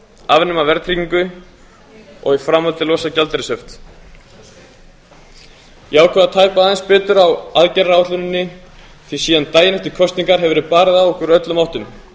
afnema verðtryggingu og í framhaldi að losa gjaldeyrishöft ég ákvað að tæpa aðeins betur á aðgerðaáætluninni því síðan daginn eftir kosningar hefur verið barið á okkur úr öllum áttum